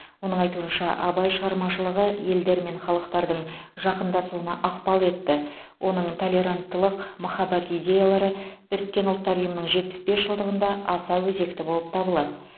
оның айтуынша абай шығармашылығы елдер мен халықтардың жақындасуына ықпал етті оның толеранттылық махаббат идеялары біріккен ұлттар ұйымының жетпіс бес жылдығында аса өзекті болып табылады